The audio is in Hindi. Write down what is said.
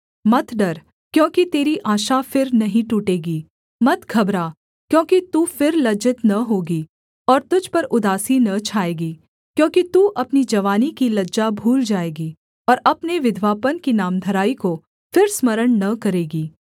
मत डर क्योंकि तेरी आशा फिर नहीं टूटेगी मत घबरा क्योंकि तू फिर लज्जित न होगी और तुझ पर उदासी न छाएगी क्योंकि तू अपनी जवानी की लज्जा भूल जाएगी और अपने विधवापन की नामधराई को फिर स्मरण न करेगी